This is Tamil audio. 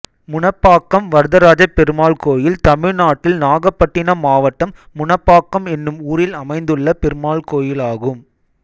முனப்பாக்கம் வரதராஜப்பெருமாள் கோயில் தமிழ்நாட்டில் நாகபட்டினம் மாவட்டம் முனப்பாக்கம் என்னும் ஊரில் அமைந்துள்ள பெருமாள் கோயிலாகும்